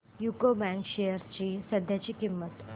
UCO bank shares ची सध्याची किंमत